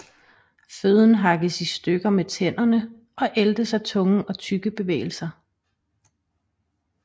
Føden hakkes i stykker med tænderne og æltes af tunge og tyggebevægelser